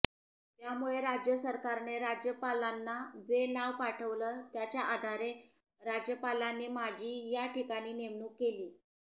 त्यामुळे राज्यसरकारने राज्यपालांना जे नाव पाठवलं त्याच्या आधारे राज्यपालांनी माझी या ठिकाणी नेमणूक केली